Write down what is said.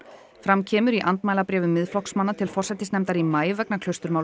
fram kemur í andmælabréfum Miðflokksmanna til forsætisnefndar í maí vegna